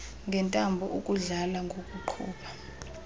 ngentambo ukudlala ngokuqhuba